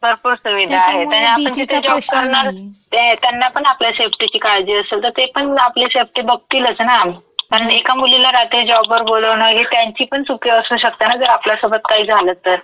भरपूर सुविधा आहेत आणि आपण जिथे जॉब करणार त्यांनापण आपल्या सेफ्टीची काळजीची असेल तं ते पण आपली सेफ्टी बघतीलंच ना. कारण एका मुलीला रात्री जॉबवर बोलवणं ही त्यांची पण चुकी असू शकते ना जर आपल्यासोबत काही झालं तर. त्याच्यामुळे भीती प्रश्न नाहीये.